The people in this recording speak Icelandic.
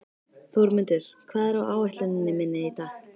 Þórmundur, hvað er á áætluninni minni í dag?